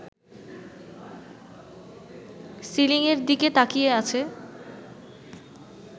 সিলিং-এর দিকে তাকিয়ে আছে